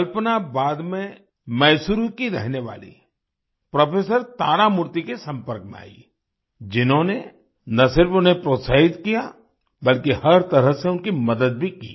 कल्पना बाद में मैसूरू की रहने वाली प्रोफेसर तारामूर्ति के संपर्क में आई जिन्होंने न सिर्फ उन्हें प्रोत्साहित किया बल्कि हर तरह से उनकी मदद भी की